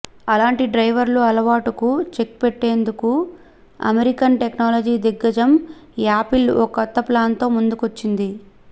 అలాంటి డ్రైవర్ల అలవాటుకు చెక్ పెట్టేందుకు అమెరికన్ టెక్నాలజీ దిగ్గజం యాపిల్ ఓ కొత్త ప్లాన్తో ముందుకొచ్చింది